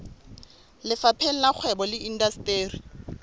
lefapheng la kgwebo le indasteri